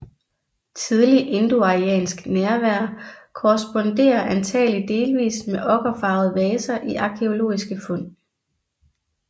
Tidlig indoariansk nærvær korresponderer antagelig delvis med okkerfarvede vaser i arkæologiske fund